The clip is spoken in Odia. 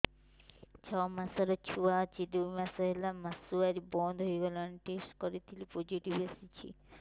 ଛଅ ମାସର ଛୁଆ ଅଛି ଦୁଇ ମାସ ହେଲା ମାସୁଆରି ବନ୍ଦ ହେଇଗଲାଣି ଟେଷ୍ଟ କରିଥିଲି ପୋଜିଟିଭ ଆସିଛି